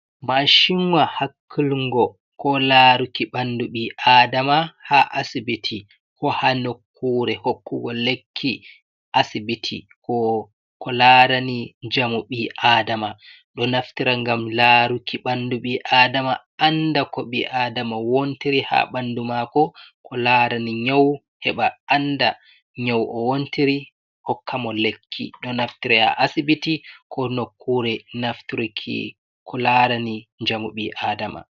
Mashinwa hakkliungo ko laruki ɓandu bi Adama ha asibiti ko ha nokkure hokkugo lekki asibiti ko larani njamu ɓi Adama ɗo naftira ngam laruki ɓandu ɓi Adama anda ko ɓi Adama wontiri ha ɓandu mako ko larani nyau heɓa anda nyau o wontiri hokkamo lekki ɗo naftiri ha asibiti ko nokkure ko larani njamu ɓi Adama.